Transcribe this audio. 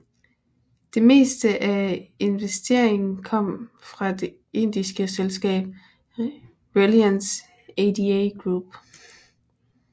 Det meste af investeringen kom fra det indiske selskab Reliance ADA Group